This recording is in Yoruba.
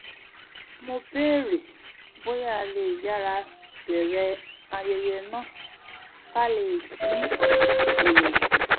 mo béèrè bóyá a lè yára bẹ̀ẹ̀rẹ̀ ayẹyẹ náà ká lè dín èrò kù